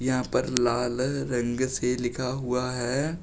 यहां पर लाल रंग से लिखा हुआ है।